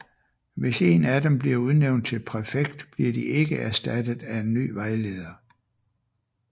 Hvis en af dem bliver udnævnt til præfekt bliver de ikke erstattet af en ny vejleder